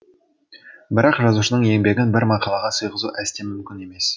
бірақ жазушының еңбегін бір мақалаға сыйғызу әсте мүмкін емес